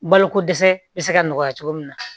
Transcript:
Baloko dɛsɛ bɛ se ka nɔgɔya cogo min na